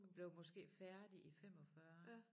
Og blev måske færdig i 45